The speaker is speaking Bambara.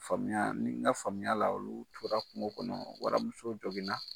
Faamuya ni n ka faamuya la olu tora kungo kɔnɔ waramuso